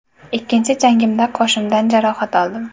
Ikkinchi jangimda qoshimdan jarohat oldim.